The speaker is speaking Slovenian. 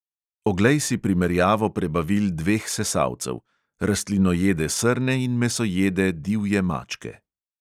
Oglej si primerjavo prebavil dveh sesalcev: rastlinojede srne in mesojede divje mačke.